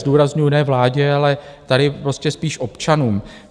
Zdůrazňuji ne vládě, ale tady prostě spíš občanům.